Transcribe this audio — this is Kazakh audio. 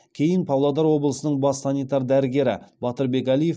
кейін павлодар облысының бас санитар дәрігері батырбек әлиев